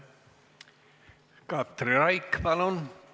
Katri Raik, palun!